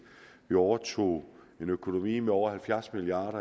vi overtog en økonomi med over halvfjerds milliard